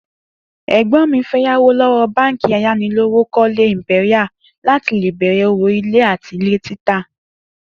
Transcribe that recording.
Ègbó̩n mi fé̩ yáwó ló̩wó̩ báǹkì ayánilówókó̩lé Imperial láti lè bè̩rè̩ òwò ilé àti ilè̩ títà